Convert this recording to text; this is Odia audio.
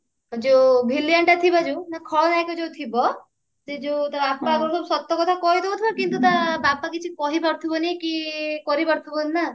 ଆଉ ଯଉ villainଟା ଥିବ ଯଉ ଖଳନାୟିକା ଯଉ ଥିବ ସେ ଯଉ ତା ବାପା ଯଉ ସତ କଥା କହି ଦଉଥିବ କିନ୍ତୁ ତା ବାପା କିଛି ଯଉ କହି ପାରୁଥିବନି କରି ପାରୁଥିବନି ନା